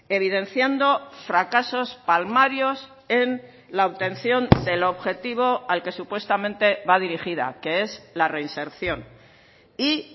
evidenciando fracasos palmarios en la obtención del objetivo al que supuestamente va dirigida que es la reinserción y